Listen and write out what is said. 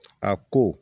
A ko